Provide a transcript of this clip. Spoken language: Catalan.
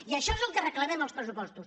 i això és el que reclamem en els pressupostos